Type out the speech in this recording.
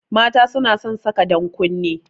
Mata suna son saka dankunne